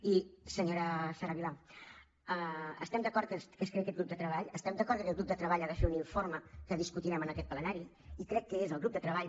i senyora sara vilà estem d’acord que es creï aquest grup de treball estem d’acord que aquest grup de treball ha de fer un informe que discutirem en aquest plenari i crec que és el grup de treball